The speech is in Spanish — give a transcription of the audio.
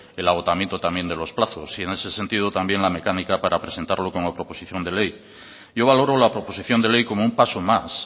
el agotamiento también de los plazos y en ese sentido también la mecánica para presentarlo como proposición de ley yo valoro la proposición de ley como un paso más